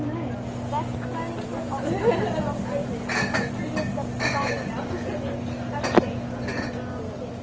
Verkfræðingur á hvítum sloppi tíundar gang viðgerðanna fyrir